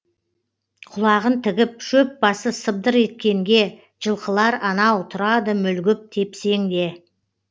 құлағын тігіп шөп басы сыбдыр еткенге жылқылар анау тұрады мүлгіп тепсеңде